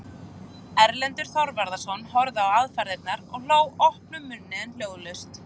Erlendur Þorvarðarson horfði á aðfarirnar og hló opnum munni en hljóðlaust.